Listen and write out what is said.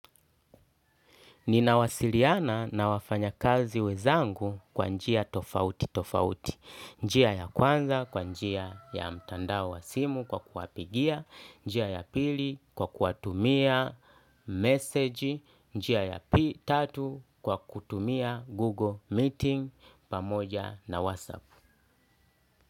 Ninawasiliana na wafanya kazi wenzangu kwa njia tofauti tofauti. Njia ya kwanza, kwa njia ya mtandao wa simu kwa kuwapigia, njia ya pili kwa kuwatumia message, njia ya tatu kwa kutumia google meeting pamoja na whatsapp.